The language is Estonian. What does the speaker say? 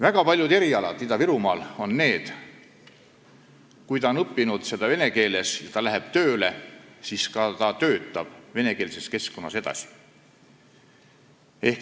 Väga paljud erialad Ida-Virumaal on sellised, et inimene õpib seda vene keeles ja kui ta läheb tööle, siis ta ka töötab venekeelses keskkonnas.